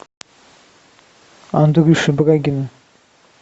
андрюши брагина